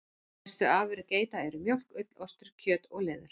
Helstu afurðir geita eru mjólk, ull, ostur, kjöt og leður.